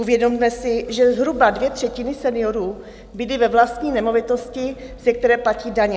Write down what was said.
Uvědomme si, že zhruba dvě třetiny seniorů bydlí ve vlastní nemovitosti, ze které platí daně.